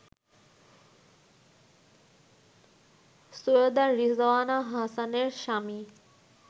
সৈয়দা রিজওয়ানা হাসানের স্বামী